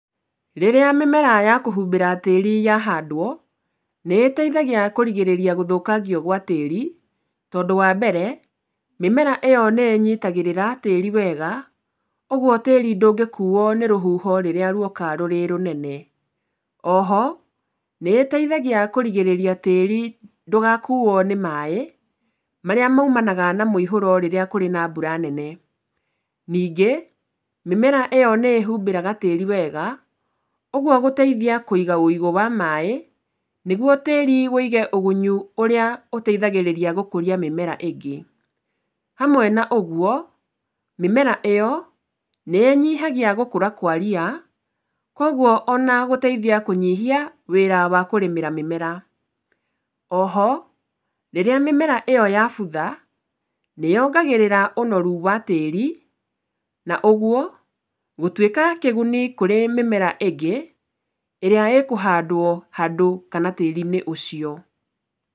Rĩrĩa mĩmera ya kũhumbĩra tĩĩri yahandwo, nĩĩteithagia kũrigĩrĩria gũthũkangio gwa tĩĩri, tondũ wa mbere, mĩmera ĩyo nĩĩnyitaga tĩĩri wega ũgwo tĩĩri ndũngĩkuo nĩ rũhuho rĩrĩa rwoka rũrĩ rũnene. Oho nĩiteithagia kũrigĩrĩria tĩĩri ndũngĩkuo nĩ maaĩ marĩa maumanaga na mũihũro rĩrĩa kũrĩ na mbura nene. Ningĩ mĩmera ĩyo nĩĩhumbĩraga tĩĩri wega, ũgwo gũteithia kũiga ũigũ wa maaĩ nĩgwo tĩĩri wũige ũgunyu ũrĩa ũteithagĩrĩria gũkũria mĩmera ĩngĩ. Hamwe na ũgwo, mĩmera ĩyo nĩĩnyihagia gũkũra kwa ria, kogwo ona gũteithia kũnyihia wĩra wa kũrĩmĩra mĩmera. Oho rĩrĩa mĩmera ĩyo yabutha, nĩyongagĩrĩra ũnoru wa tĩĩri, na ũgwo gũtuĩka kĩguni kũrĩ mĩmera ĩngĩ ĩrĩa ĩkũhandwo handũ kana tĩĩri-inĩ ũcio.